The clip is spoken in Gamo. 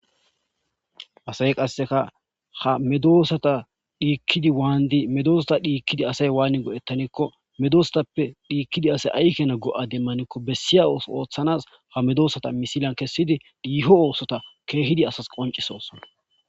Asay qasseka ha medoosata dhiikkidi waandi medoosata dhiikkidi asay waanni godhettanekko medosatappe dhiikkidi asay aykena go'a demmanikko bessiya o ooththanas ha medoosata misilan kessidi dhiiho oosota keehidi asas qoncisosona